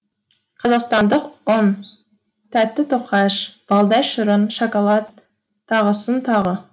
қазақстандық ұн тәтті тоқаш балдай шырын шоколад тағысын тағы